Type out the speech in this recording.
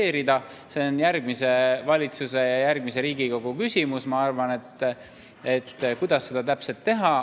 See, kuidas seda täpselt teha, on järgmise valitsuse ja järgmise Riigikogu küsimus, ma arvan.